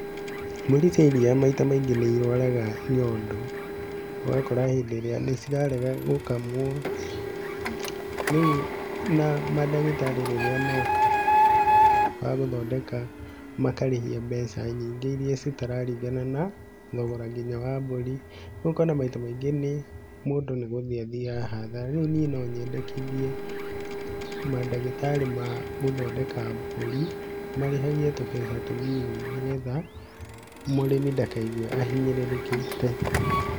Mbũri cia iria maita maingĩ nĩ irwaraga nyondo, ũgakora hĩndĩ ĩrĩa nĩ cirarega gũkamwo. Rĩu na mandagĩtarĩ rĩrĩa moka ma gũthondeka makarĩhia mbeca nyingĩ iria citararingana na thogora nginya wa mbũri. Rĩu ũkona maita maingĩ mũndũ nĩ gũthiĩ athiaga hathara. Rĩu niĩ no nyendekithie mandagĩtarĩ ma gũthondeka mbũri marĩhagie tũbeca tũ nini nĩ getha mũrĩmi ndakaigue ahinyĩrĩrĩkĩte.